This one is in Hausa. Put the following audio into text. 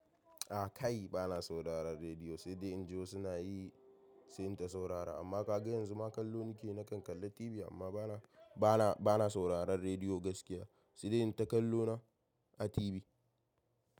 Ah kai bana sauraron rediyo sai dai inji wasu suna yi, sai in saurara. Amma ka ga yanzu ma kallo nake na kan kalla TV amma bana, bana, bana sauraron rediyo gaskiya sai dai in ta kallo na a TV.